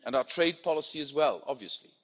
And our trade policy as well, obviously.